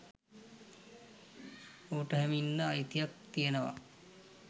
ඌට එහෙම ඉන්න අයිතියක් තියෙනවා